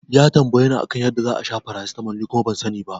Ya tambayeni a kan yadda za'a sha paracetamol ni kuma ban sani ba.